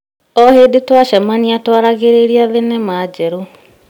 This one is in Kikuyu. O hĩndĩ twacemania tũaragĩrĩria thenema njerũ.